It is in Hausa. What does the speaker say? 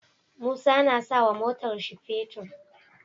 Musa na sawa motar shi fetir